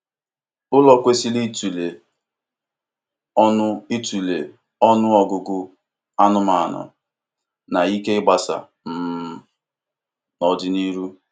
Ụlọ kwesịrị ịtụle ọnụ ịtụle ọnụ ọgụgụ anụmanụ na ike ịgbasa um n'ọdịnihu.